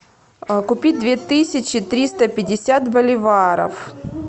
купить две тысячи триста пятьдесят боливаров